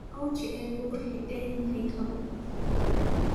Ochieng waxa uu xidhan yahay kabo